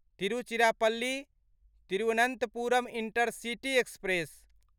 Tiruchirappalli Thiruvananthapuram intercity express